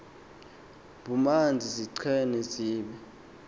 bumanzi ziqine zibe